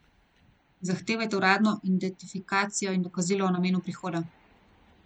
Zahtevajte uradno identifikacijo in dokazilo o namenu prihoda.